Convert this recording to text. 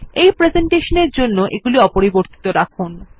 এই প্রেসেন্টেশনের জন্য এগুলি অপরিবর্তিত রাখুন